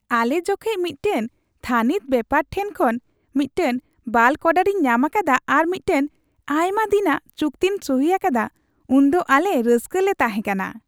ᱟᱞᱮ ᱡᱚᱠᱷᱮᱡ ᱢᱤᱫᱴᱟᱝ ᱛᱷᱟᱹᱱᱤᱛ ᱵᱮᱯᱟᱨ ᱴᱷᱮᱱ ᱠᱷᱚᱱ ᱢᱤᱫᱴᱟᱝ ᱵᱞᱟᱠ ᱚᱰᱟᱨᱤᱧ ᱧᱟᱢ ᱟᱠᱟᱫᱟ ᱟᱨ ᱢᱤᱫᱴᱟᱝ ᱟᱭᱢᱟ ᱫᱤᱱᱟᱜ ᱪᱩᱠᱛᱤᱧ ᱥᱩᱦᱤ ᱟᱠᱟᱫᱟ ᱩᱱᱫᱚ ᱟᱞᱮ ᱨᱟᱹᱥᱠᱟᱹ ᱞᱮ ᱛᱟᱦᱮᱸ ᱠᱟᱱᱟ ᱾